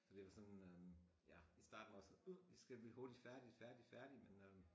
Så det var sådan øh ja i starten var jeg sådan jeg skal blive hurtigt færdig færdig færdig men øh